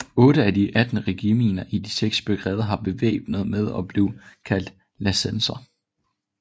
Otte af de atten regimenter i de seks brigader var bevæbnet med og blev kaldt lansenerer